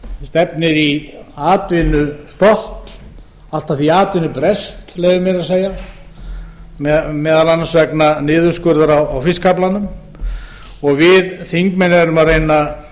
stefnir í atvinnustopp allt að því atvinnubrest leyfi ég mér að segja meðal annars vegna niðurskurðar á fiskaflanum og við þingmenn erum að reyna að